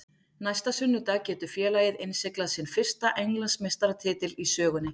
Næsta sunnudag getur félagið innsiglað sinn fyrsta Englandsmeistaratitil í sögunni.